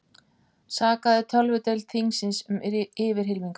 Sakaði tölvudeild þingsins um yfirhylmingar